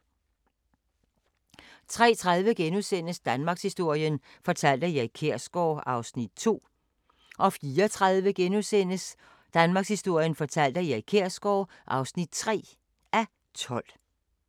03:30: Danmarkshistorien fortalt af Erik Kjersgaard (2:12)* 04:30: Danmarkshistorien fortalt af Erik Kjersgaard (3:12)*